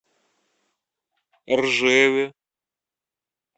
ржеве